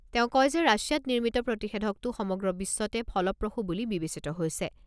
তেওঁ কয় যে ৰাছিয়াত নিৰ্মিত প্ৰতিষেধকটো সমগ্ৰ বিশ্বতে ফলপ্ৰসূ বুলি বিবেচিত হৈছে।